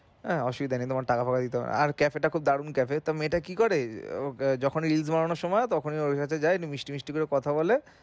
আহ অসুবিধা নেই তোমার টাকা পয়সা দিতে হবেনা আর cafe টা খুব দারুন cafe তো মেয়েটা কি করে যখনি reach বাড়ানোর সময় হয় তখনি ও ঐভাবে যায় একটু মিষ্টি মিষ্টি করে কথা বলে